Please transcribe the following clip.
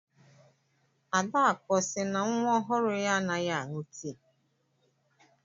Adakụ ọ sị na nwa ọhụrụ ya anaghị aṅụ tii?